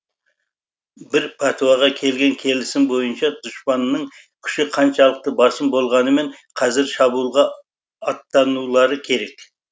бір пәтуаға келген келісім бойынша дұшпанның күші қаншалықты басым болғанымен қазір шабуылға аттанулары керек